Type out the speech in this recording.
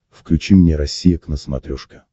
включи мне россия к на смотрешке